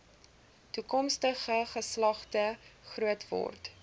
toekomstige geslagte grootword